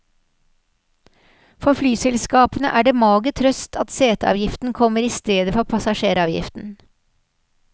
For flyselskapene er det mager trøst at seteavgiften kommer i stedet for passasjeravgiften.